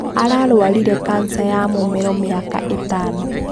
Ararwarire kansa ya mũmero mĩaka ĩtano.